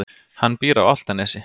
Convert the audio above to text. Hann býr á Álftanesi.